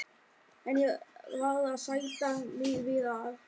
En ég varð að sætta mig við að